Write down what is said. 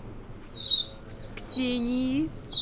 ксении